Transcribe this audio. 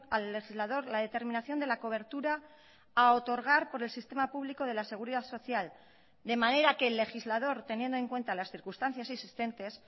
al legislador la determinación de la cobertura a otorgar por el sistema público de la seguridad social de manera que el legislador teniendo en cuenta las circunstancias existentes